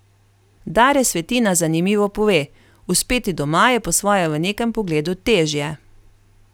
Dare Svetina zanimivo pove: 'Uspeti doma je po svoje v nekem pogledu težje.